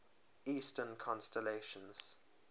eastern constellations